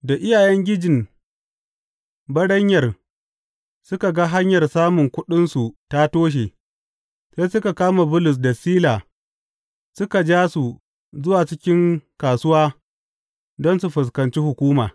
Da iyayengijin baranyar suka ga hanyar samun kuɗinsu ta toshe, sai suka kama Bulus da Sila suka ja su zuwa cikin kasuwa don su fuskanci hukuma.